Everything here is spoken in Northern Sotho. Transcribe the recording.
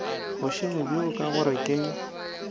bošego bjo ka gore le